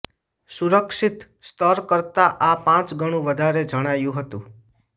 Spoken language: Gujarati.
સુરક્ષિત સ્તર કરતાં આ પાંચ ગણું વધારે જણાયું હતું